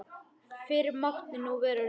Fyrr mátti nú vera ruglið!